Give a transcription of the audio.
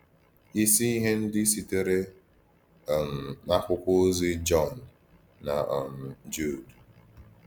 Ìsì Íhè Ndí Sìtèrè um n’Àkwụ́kwọ̀ Òzì Jọn na um Jùd.